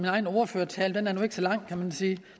egen ordførertale den er nu ikke så lang kan man sige